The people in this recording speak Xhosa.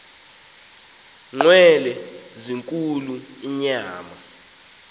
nqwelo zinkulu inyama